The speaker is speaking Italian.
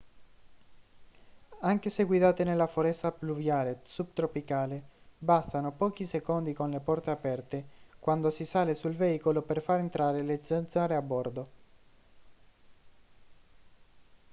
anche se guidate nella foresta pluviale subtropicale bastano pochi secondi con le porte aperte quando si sale sul veicolo per far entrare le zanzare a bordo